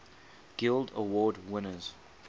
guild award winners